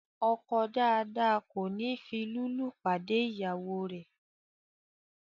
ọkọ dáadáa kòní fi lúlù pàdé ìyàwó rè.